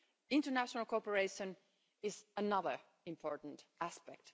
International cooperation is another important aspect.